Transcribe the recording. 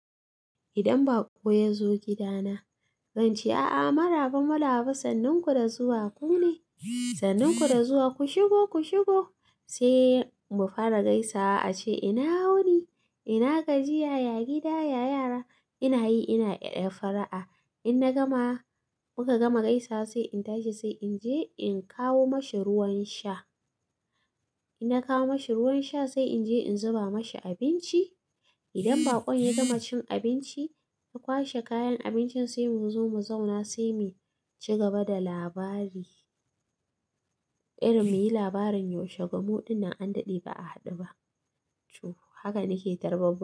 Idan baƙo ya zo gidana, zan ce, "A'a maraba, maraba, sanninku da zuwa ku ne. Sanninku da zuwa, ku shigo, ku shigo." Sai mu fara gaisa, a ce ina wuni, ina gajiya, ya gida, ya yara. Ina yi, ina ɗaya fara'a. In na gama, muka gama gaisa sai in tashi, sai in je in kawo mashi ruwan sha. In na kawo mashi ruwan sha sai in je in zuba mashi abinci. Idan baƙon ya gama cin abinci, ya kwashe kayan abincin sai mu zo mu zauna sai mu cigaba da labari. Irin muyi labarin yaushe, gummuɗin nan an daɗe ba a haɗu ba. Tuh, haka nake tarba baƙo.